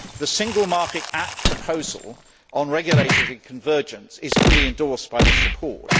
The Single Market Act proposal on regulatory convergence is fully endorsed by this report.